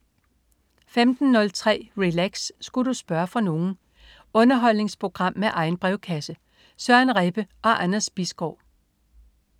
15.03 Relax. Sku' du spørge fra nogen? Underholdningsprogram med egen brevkasse. Søren Rebbe og Anders Bisgaard